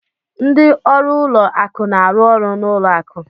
Ndị ọrụ ụlọ akụ na-arụ ọrụ n'ụlọ akụ.